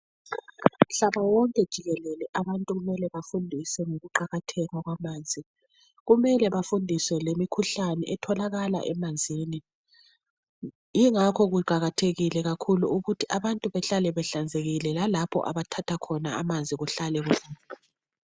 Umhlaba wonke jikelele abantu kumele bafundiswe ngokuqakatheka kwamanzi. Kumele bafundiswe lemikhuhlane etholakala emanzinj yingakho kuqakathekile kakhulu ukuthi abantu behlale behlanzekile lalapho abathatha khona amanzi kuhlale kuhlanzekile.